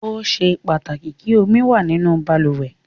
Ó ṣe pàtàkì kí omi wà nínú balùwẹ̀.